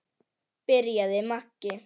byrjaði Maggi.